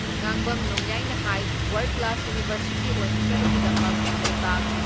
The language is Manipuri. ꯉꯥꯡꯕꯝ ꯅꯣꯡꯌꯥꯏꯅ ꯍꯥꯏ ꯋꯥꯔꯜ ꯀ꯭ꯂꯥꯁ ꯌꯨꯅꯤꯚꯔꯁꯤꯇꯤ ꯑꯣꯏꯍꯟꯅꯕꯒꯤꯗꯃꯛ ꯂꯩꯕꯥꯛ